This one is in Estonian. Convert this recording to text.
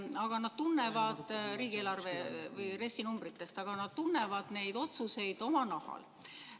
Aga nad tunnevad neist numbritest omal nahal.